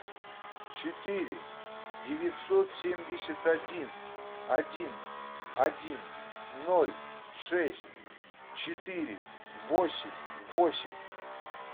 четыре девятьсот семьдесят один один один ноль шесть четыре восемь восемь